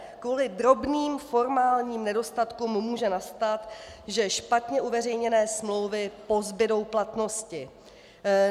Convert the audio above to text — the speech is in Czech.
Kvůli drobným formálním nedostatkům může nastat, že špatně uveřejněné smlouvy pozbudou platnosti.